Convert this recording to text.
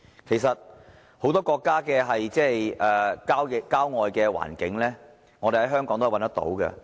其實，很多國家的郊外環境，香港也可以找得到。